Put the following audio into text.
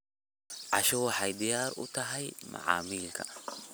Casho waxay diyaar u tahay macmiilka.